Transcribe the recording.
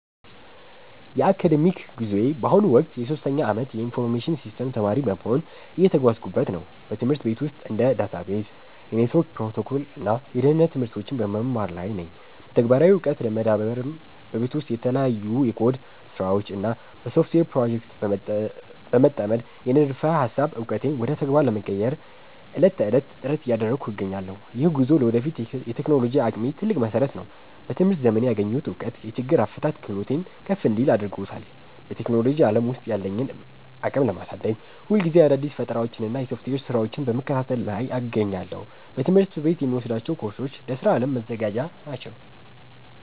የአካዳሚክ ጉዞዬ በአሁኑ ወቅት የሶስተኛ ዓመት የኢንፎርሜሽን ሲስተምስ ተማሪ በመሆን እየተጓዝኩበት ነው። በትምህርት ቤት ውስጥ እንደ ዳታቤዝ፣ የኔትወርክ ፕሮቶኮል እና የደህንነት ትምህርቶችን በመማር ላይ ነኝ። በተግባራዊ ዕውቀት ለመዳበርም በቤት ውስጥ በተለያዩ የኮድ ስራዎች እና በሶፍትዌር ፕሮጀክቶች በመጠመድ፣ የንድፈ ሃሳብ ዕውቀቴን ወደ ተግባር ለመቀየር ዕለት ተዕለት ጥረት እያደረግኩ እገኛለሁ። ይህ ጉዞ ለወደፊት የቴክኖሎጂ አቅሜ ትልቅ መሰረት ነው። በትምህርት ዘመኔ ያገኘሁት እውቀት የችግር አፈታት ክህሎቴን ከፍ እንዲል አድርጎታል። በቴክኖሎጂ ዓለም ውስጥ ያለኝን አቅም ለማሳደግ፣ ሁልጊዜ አዳዲስ ፈጠራዎችንና የሶፍትዌር ስራዎችን በመከታተል ላይ እገኛለሁ። በትምህርት ቤት የምወስዳቸው ኮርሶች ለስራ ዓለም መዘጋጃ ናቸው